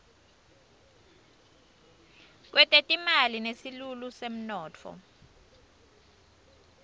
kwetetimali nesilulu semnotfo